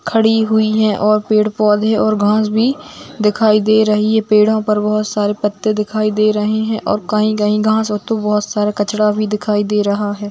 खड़ी हुई हैं और पेड़-पौधे और घांस भी दिखाई दे रही है पेड़ों पर बहुत सारे पत्ते दिखाई दे रहें हैं और कहीं कहीं घांस हेतु बहुत सारा कचरा भी दिखाई दे रहा है।